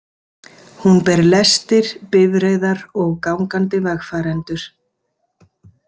Hún ber lestir, bifreiðar og gangandi vegfarendur.